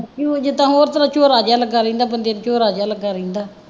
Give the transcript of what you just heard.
ਕਿਉਂ ਜਿਦਾਂ ਹੋਰ ਝੋਰਾ ਜਿਹਾ ਲੱਗਾ ਰਹਿੰਦਾ ਬੰਦੇ ਨੂੰ ਝੋਰਾ ਜਿਹਾ ਲੱਗਾ ਰਹਿੰਦਾ